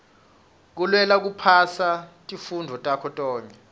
kulwela kuphasa tifundvo takho tonkhe